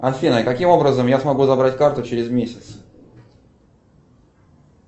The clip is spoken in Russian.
афина каким образом я смогу забрать карту через месяц